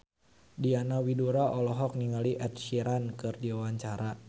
Diana Widoera olohok ningali Ed Sheeran keur diwawancara